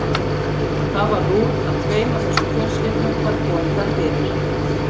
Það varð úr að tveim af þessum fjölskyldum var komið þar fyrir.